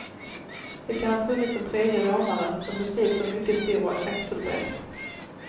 Det kan ha funnits en tredje rånare, som beskrivs som mycket stor och axelbred.